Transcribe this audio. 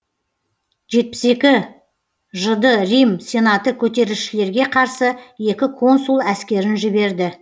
жетпіс екі жыды рим сенаты көтерілісшілерге қарсы екі консул әскерін жіберді